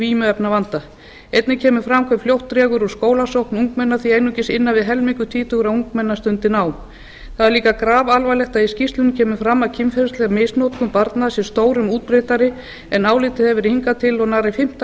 vímuefnavanda einnig kemur fram hve fljótt dregur úr skólasókn ungmenna því einungis innan við helmingur tvítugra ungmenna stundi nám það er líka grafalvarlegt að í skýrslunni kemur fram að kynferðisleg misnotkun barna sé stórum útbreiddari en álitið hefur verið hingað til og nærri fimmta